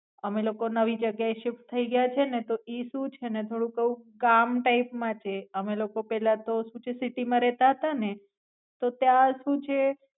અમે લોકો નવી જગ્યાએ શિફ્ટ થઈ ગયા છે ને તો ઈ સુ છે ને તોડુક એવું ગામ ટાય્પ માં છે અમે લોકો પેલાતો સુ છે city માં રેતા હતા ને તો ત્યાં સુ છે.